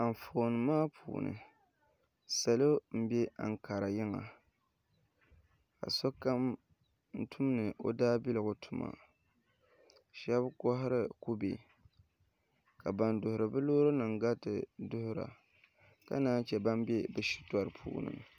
Anfooni maa puuni salo n bɛ ankara yiŋa ka sokam tumdi o daabiligu tuma shaba kohari kubɛ ka ban duɣuri bi loori nim gariti duɣura ka naan chɛ ban bɛ bi shitori puuni